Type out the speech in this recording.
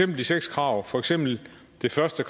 de seks krav for eksempel det første